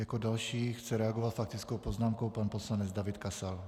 Jako další chce reagovat faktickou poznámkou pan poslanec David Kasal.